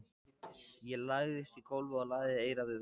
Ég lagðist í gólfið og lagði eyrað við vegginn.